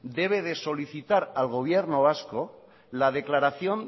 debe de solicitar al gobierno vasco la declaración